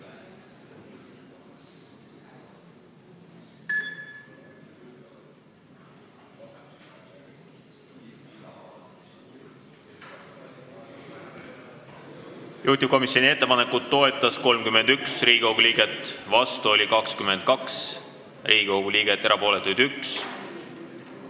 Hääletustulemused Juhtivkomisjoni ettepanekut toetas 31 Riigikogu liiget, vastu oli 22, erapooletuid 1.